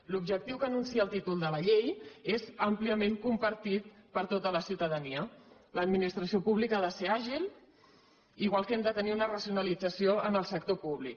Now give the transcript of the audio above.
l’objectiu que anuncia el títol de la llei és àmpliament compartit per tota la ciutadania l’administració pública ha de ser àgil igual que hem de tenir una racionalització en el sector públic